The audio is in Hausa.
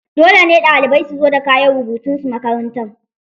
Dole ne ɗalibai su zo da kayan rubutunsu makaranta.